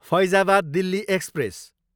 Faizabad Delhi express